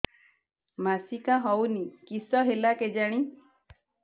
ମାସିକା ହଉନି କିଶ ହେଲା କେଜାଣି